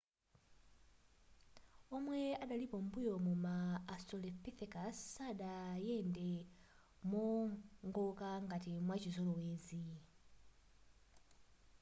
omwe adalipo m'mbuyomu ma australopithecus sadayende mowongoka ngati mwachizolowezi